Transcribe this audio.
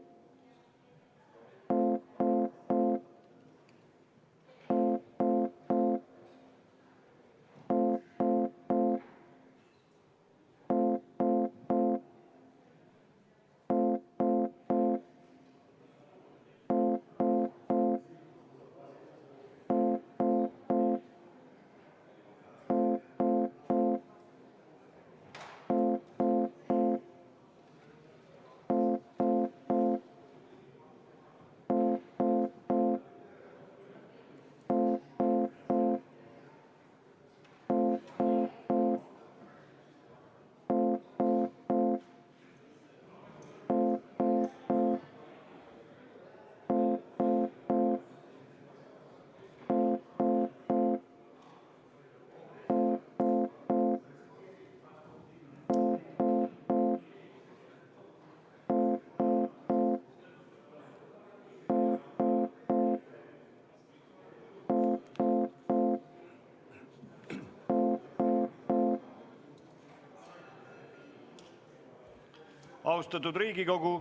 Austatud Riigikogu!